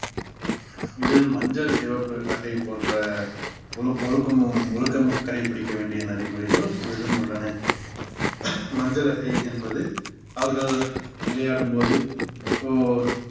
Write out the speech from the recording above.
இதில் மஞ்சள் சிவப்பு அட்டை போன்ற ஒழுக்~ ஒழுக்கமும் ஒழுக்கமும் கடைப்பிடிக்க வேண்டிய நடைமுறைகள் இதிலும் உள்ளன மஞ்சள் அட்டை என்பது அவர்கள் விளையாடும் போது so